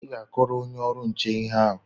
ị ga-akọrọ onye ọrụ nchekwa ihe a?